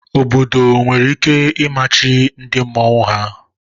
Obodo nwere ike imachi ndị mmọnwu ha.